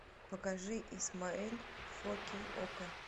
покажи исмаэль фо кей окко